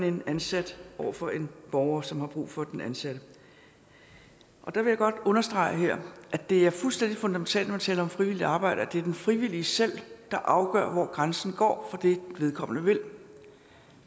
en ansat over for en borger som har brug for den ansatte jeg vil godt her understrege at det er fuldstændig fundamentalt når man taler om frivilligt arbejde at det er den frivillige selv der afgør hvor grænsen går for det vedkommende vil